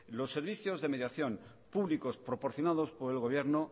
los servicios de mediación públicos proporcionados por el gobierno